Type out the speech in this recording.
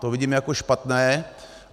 To vidím jako špatné.